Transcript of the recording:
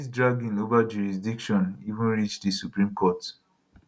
dis dragging ova jurisdiction even reach di supreme court